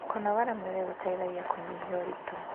kũnogora mwĩrĩ gũteithagia kunyihia uritu